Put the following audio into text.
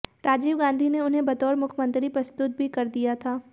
राजीव गांधी ने उन्हें बतौर मुख्यमंत्री प्रस्तुत भी कर दिया था